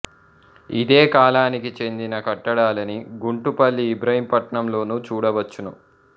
ఇదే కాలానికి చెందిన కట్టడాలని గుంటుపల్లి ఇబ్రహీంపట్నం లోనూ చూడవచ్చును